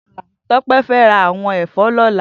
Tope fè rá áwòn èfò lòlá